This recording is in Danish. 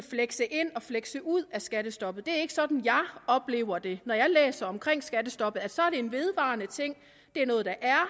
flekse ind og flekse ud af skattestoppet det er ikke sådan jeg oplever det når jeg læser om skattestoppet så er det en vedvarende ting det er noget der er